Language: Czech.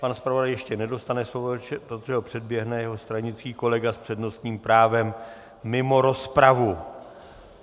Pan zpravodaj ještě nedostane slovo, protože ho předběhne jeho stranický kolega s přednostním právem mimo rozpravu.